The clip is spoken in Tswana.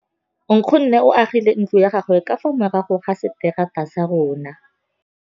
Nkgonne o agile ntlo ya gagwe ka fa morago ga seterata sa rona.